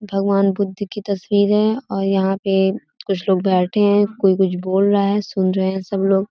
भगवान बुद्ध की तस्वीरे हैं और यहाँ पे कुछ लोग बैठे हैं कोई कुछ बोल रहा है सुन रहे हैं सब लोग।